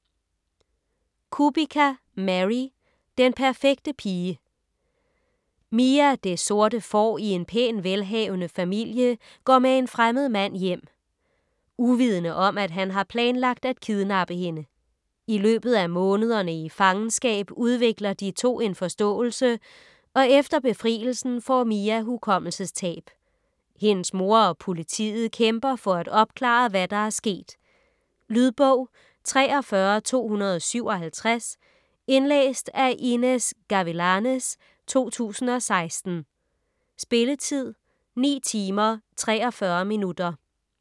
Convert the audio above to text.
Kubica, Mary: Den perfekte pige Mia, det sorte får i en pæn, velhavende familie, går med en fremmed mand hjem. Uvidende om, at han har planlagt at kidnappe hende. I løbet af månederne i fangenskab udvikler de to en forståelse, og efter befrielsen får Mia hukommelsestab. Hendes mor og politiet kæmper for at opklare, hvad der er sket. Lydbog 43257 Indlæst af Inez Gavilanes, 2016. Spilletid: 9 timer, 43 minutter.